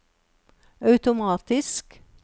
automatisk